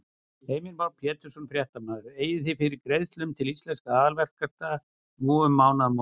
Heimir Már Pétursson, fréttamaður: Eigið þið fyrir greiðslum til Íslenskra aðalverktaka núna um mánaðamótin?